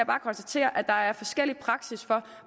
bare konstatere at der er forskellig praksis for